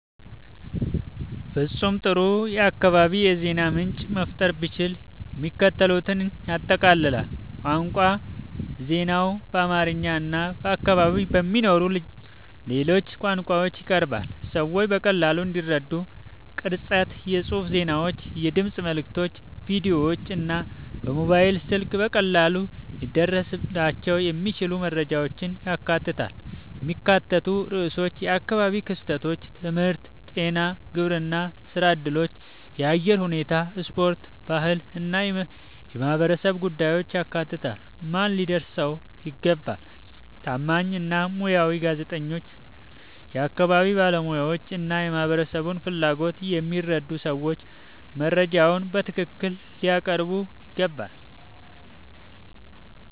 ፍጹም ጥሩ የአካባቢ የዜና ምንጭ መፍጠር ብችል፣ የሚከተሉትን ያጠቃልላል፦ ቋንቋ ዜናው በአማርኛ እና በአካባቢው በሚነገሩ ሌሎች ቋንቋዎች ይቀርባል፣ ሰዎች በቀላሉ እንዲረዱት። ቅርጸት የጽሑፍ ዜናዎች፣ የድምፅ መልዕክቶች፣ ቪዲዮዎች እና በሞባይል ስልክ በቀላሉ ሊደረስባቸው የሚችሉ መረጃዎችን ያካትታል። የሚካተቱ ርዕሶች የአካባቢ ክስተቶች፣ ትምህርት፣ ጤና፣ ግብርና፣ ሥራ እድሎች፣ የአየር ሁኔታ፣ ስፖርት፣ ባህል እና የማህበረሰብ ጉዳዮችን ያካትታል። ማን ሊያደርሰው ይገባ? ታማኝ እና ሙያዊ ጋዜጠኞች፣ የአካባቢ ባለሙያዎች እና የማህበረሰቡን ፍላጎት የሚረዱ ሰዎች መረጃውን በትክክል ሊያቀርቡት ይገባል።